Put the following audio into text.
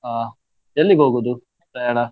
ಅಹ್ ಎಲ್ಲಿಗೆ ಹೋಗುದು ಪ್ರಯಾಣಾ?`